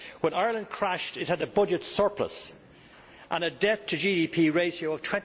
When Ireland crashed it had a budget surplus and a debt to GDP ratio of